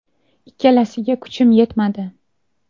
Ikkalasiga kuchim yetmadi.